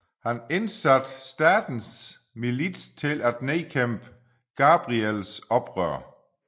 Han indsatte statens milits til at nedkæmpe Gabriels oprør